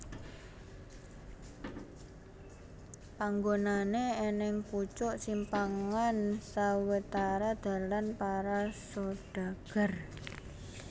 Panggonané anèng pucuk simpangan sawetara dalan para sodagar